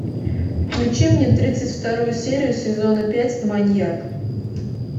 включи мне тридцать вторую серию сезона пять маньяк